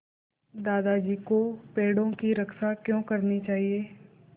दादाजी को पेड़ों की रक्षा क्यों करनी चाहिए